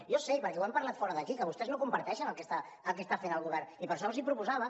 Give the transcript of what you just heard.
jo sé perquè ho hem parlat fora d’aquí que vostès no comparteixen el que està fent el govern i per això els ho proposava